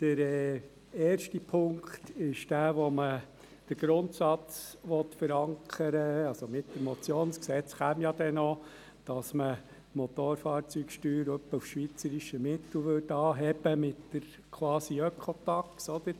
Mit dem ersten Punkt möchte man mittels Motion den Grundsatz verankern – das Gesetz würde ja noch folgen –, die Motorfahrzeugsteuer etwa auf das schweizerische Mittel anzuheben, mit der «Quasi-Ökotaxe».